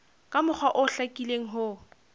ka mokgwa o hlakileng ho